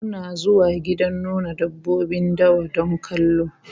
Muna zuwa gidan nuna dabbobin dawa don kallo